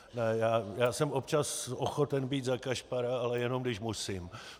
Já jsem občas ochoten být za kašpara, ale jenom když musím.